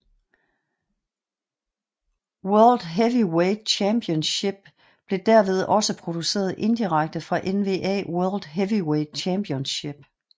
WWE World Heavyweight Championship blev derved også produceret indirekte fra NWA World Heavyweight Championship